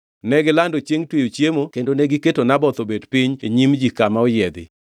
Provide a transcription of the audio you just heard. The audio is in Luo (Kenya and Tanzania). Negilando chiengʼ tweyo chiemo kendo negiketo Naboth obet piny e nyim ji kama oyiedhi.